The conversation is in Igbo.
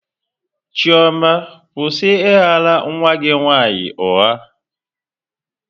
Chioma, kwụsị ị ghara nwa gị nwaanyị ụgha!